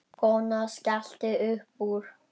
Konan skellti upp úr.